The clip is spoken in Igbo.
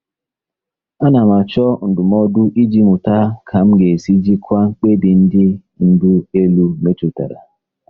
Ana m achọ ndụmọdụ iji mụta ka m ga-esi jikwaa mkpebi ndị ndu elu metụtara.